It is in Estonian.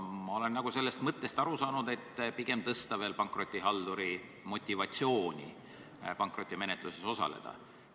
Ma olen sellest mõttest aru saanud nii, et pigem tuleks tõsta veel pankrotihalduri motivatsiooni pankrotimenetluses osaleda.